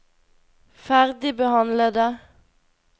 ferdigbehandlede